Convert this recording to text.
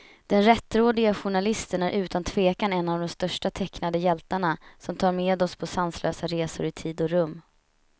Den rättrådige journalisten är utan tvekan en av de största tecknade hjältarna, som tar med oss på sanslösa resor i tid och rum.